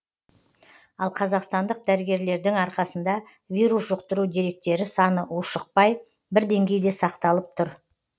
ал қазақстандық дәрігерлердің арқасында вирус жұқтыру деректері саны ушықпай бір деңгейде сақталып тұр